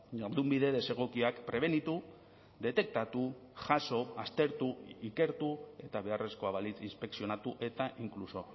jardunbide desegokiak prebenitu detektatu jaso aztertu ikertu eta beharrezkoa balitz inspekzionatu eta inkluso